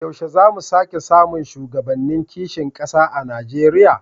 Yaushe za mu sake samun shugabannin kishin kasa a Najeriya?